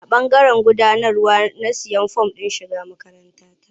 A ɓangaren gudanarwa na sayi form ɗin shiga makaranta.